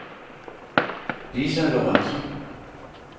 Lisa Lorenzen